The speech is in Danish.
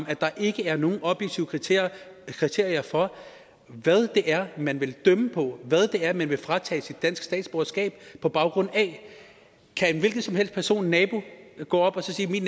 at der ikke er nogen objektive kriterier kriterier for hvad det er man vil dømme på hvad det er man vil fratage et dansk statsborgerskab på baggrund af kan en hvilken som helst person en nabo så gå op og sige min